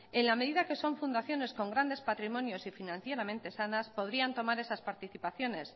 en la medida que son fundaciones con grandes patrimonios y financieramente sanas podrían tomar esas participaciones